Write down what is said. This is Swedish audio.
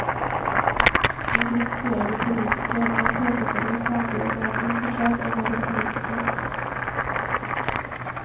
Han kritiserade politiker, men påpekade ju samtidigt att han inte själv är någon politiker.